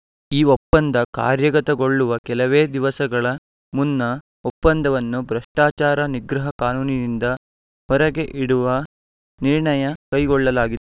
ಈ ಒಪ್ಪಂದ ಕಾರ್ಯಗತಗೊಳ್ಳುವ ಕೆಲವೇ ದಿವಸಗಳ ಮುನ್ನ ಒಪ್ಪಂದವನ್ನು ಭ್ರಷ್ಟಾಚಾರ ನಿಗ್ರಹ ಕಾನೂನಿನಿಂದ ಹೊರಗೆ ಇಡುವ ನಿರ್ಣಯ ಕೈಗೊಳ್ಳಲಾಗಿ